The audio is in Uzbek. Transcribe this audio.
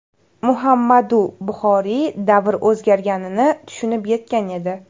Muhammadu Buxoriy davr o‘zgarganini tushunib yetgan edi.